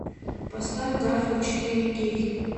поставь гарфилд четыре кей